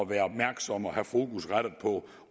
være opmærksomme og have fokus rettet på